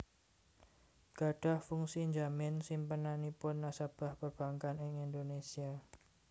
gadhah fungsi njamin simpenanipun nasabah perbankan ing Indonésia